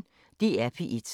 DR P1